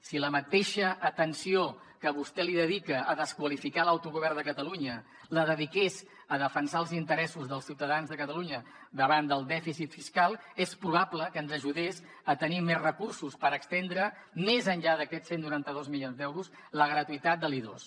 si la mateixa atenció que vostè dedica a desqualificar l’autogovern de catalunya la dediqués a defensar els interessos dels ciutadans de catalunya davant del dèficit fiscal és probable que ens ajudés a tenir més recursos per estendre més enllà d’aquests cent i noranta dos milions d’euros la gratuïtat de l’i2